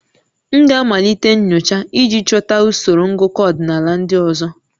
M ga-amalite nyocha iji chọta usoro ngụkọ ọdịnala ndị ọzọ